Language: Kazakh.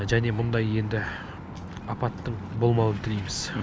және мұндай енді апаттың болмауын тілейміз